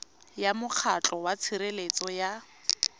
ya mokgatlho wa tshireletso ya